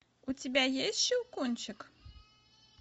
у тебя есть щелкунчик